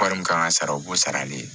Wari min kan ka sara o b'o sarali